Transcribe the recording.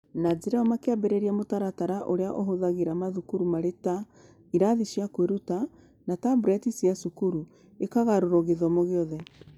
Na njĩra ĩyo, makĩambĩrĩria mũtaratara ũrĩa ũhũthĩraga mathukuru marĩ ta "cigathĩ cia kwĩruta" na tablet cia cukuru ikĩgarũrũo gĩthomo gĩothe.